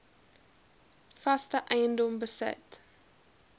vaste eiendom besit